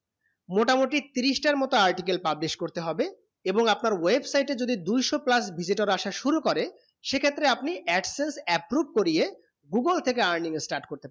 মোটামোটি তিরিশটা মতুন articles publish করতে হবে এবং আপনার website এ যদি দুইসো plus visitor আসার শুরু করে সেক্ষেত্রে আপনি absence approve করিয়ে google থেকে earning করতে